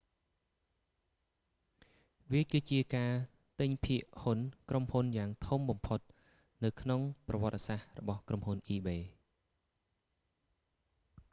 វាគឺជាការទិញភាគហ៊ុនក្រុមហ៊ុនយ៉ាងធំបំផុតនៅក្នុងប្រវត្តិសាស្រ្តរបស់ក្រុមហ៊ុន ebay